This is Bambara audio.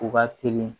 U ka telin